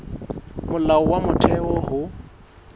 ke molao wa motheo ho